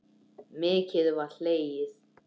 Mikið var hlegið.